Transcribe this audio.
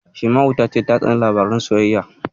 Shaima'u ta ce ta tsani labaran sosayya.